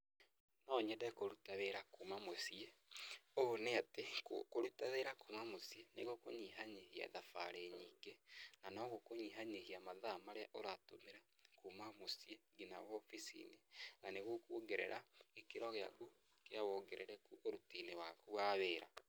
Nonyende kũruta wĩra kuma mũciĩ. Ũũ nĩ atĩ, kũruta wĩra kuuma mũciĩ, nĩ gũkũnyiha nyihia mathaa marĩa ũratũmĩra kuuma mũciĩ nginya wobici-nĩ, na nĩgũkwongerera gĩkĩro gĩaku kĩa wongerereku ũruti-nĩ waku wa wĩra.